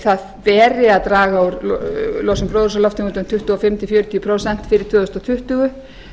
það beri að draga úr losun gróðurhúsalofttegunda um tuttugu og fimm til fjörutíu prósent fyrir tvö þúsund tuttugu